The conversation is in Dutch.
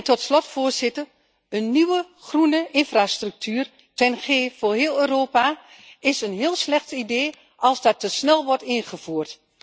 Tot slot, voorzitter een nieuwe groene infrastructuur TEN G voor heel Europa is een heel slecht idee als dat te snel wordt ingevoerd.